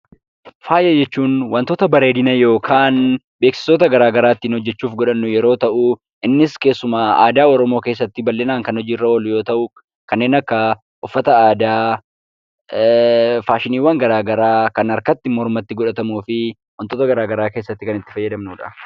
Faaya jechuun wantoota bareedina yookaan beeksisoota garaa garaa ittiin hojjechuuf godhannu yeroo ta'uu innis keessumaa aadaa Oromoo keessatti bal'inaan kan hojiirra oolu yoo ta'u kanneen akka uffata aadaa, faashiniiwwan garaa garaa, kan harkatti, mormatti godhatamuu fi wantoota garaa garaa keessatti kan itti fayyadamnudha.